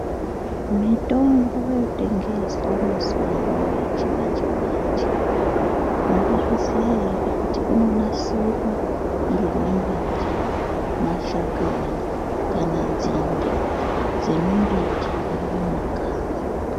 Mitombo yotengeswa mazuva ano yechimanje-manje, munozviziya ere kuti inonasirwa ngemimbiti, mashakani kana nzinde dzemumbiti iri mumakanyi.